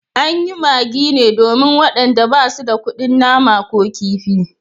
An yi magi ne domin wayanda ba su da kudin nama ko kifi